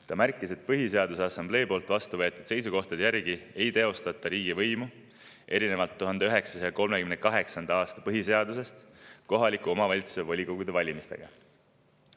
Ta märkis, et erinevalt 1938. aasta põhiseadusest ei teostata Põhiseaduse Assamblees vastu võetud seisukohtade järgi riigivõimu kohalike omavalitsuste volikogude valimistega.